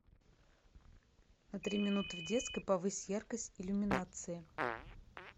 на три минуты в детской повысь яркость иллюминации